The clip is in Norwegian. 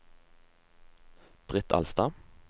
Britt Alstad